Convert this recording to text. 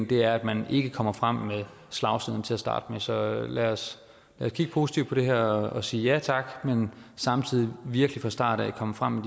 det er at man ikke kommer frem med slagsiderne til at starte med så lad os kigge positivt på det her og sige ja tak men samtidig virkelig fra starten af komme frem